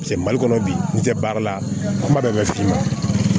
mali kɔnɔ bi n'i tɛ baara la kuma bɛɛ f'i ma